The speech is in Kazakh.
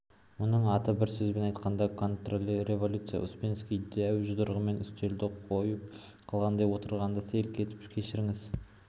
мұның аты бір сөзбен айтқанда контрреволюция успенский дәу жұдырығымен үстелді қойып қалғанда отырғандар селк етті кешіріңіз